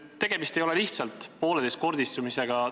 Tegemist ei ole lihtsalt pooleteistkordistumisega.